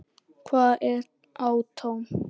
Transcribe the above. Hvað er atóm?